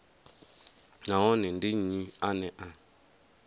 nahone ndi nnyi ane a